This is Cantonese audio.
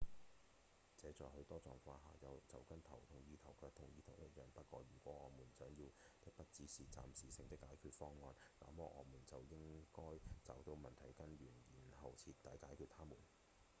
這在許多狀況下就跟「頭痛醫頭腳痛醫腳」一樣不過如果我們想要的不止是暫時性的解決方案那麼我們就應該找到問題的根源然後徹底解決它們